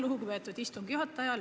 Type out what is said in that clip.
Lugupeetud istungi juhataja!